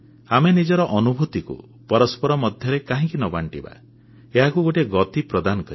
ଆମେ ନିଜର ଅନୁଭୂତିକୁ ପରସ୍ପର ମଧ୍ୟରେ କାହିଁକି ନ ବାଣ୍ଟିବା ଏହାକୁ ଗୋଟିଏ ଗତି ପ୍ରଦାନ କରିବା